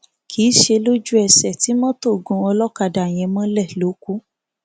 kì í ṣe lójúẹsẹ tí mọtò gún ọlọkadà yẹn mọlẹ ló kù